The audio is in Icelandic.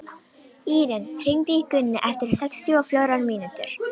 Íren, hringdu í Gunnu eftir sextíu og fjórar mínútur.